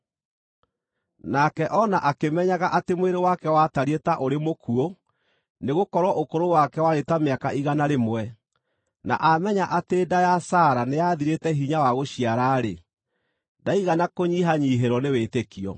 Nake o na akĩmenyaga atĩ mwĩrĩ wake watariĩ ta ũrĩ mũkuũ nĩgũkorwo ũkũrũ wake warĩ ta mĩaka igana rĩmwe, na aamenya atĩ nda ya Sara nĩyathirĩte hinya wa gũciara-rĩ, ndaigana kũnyihanyiihĩrwo nĩ wĩtĩkio.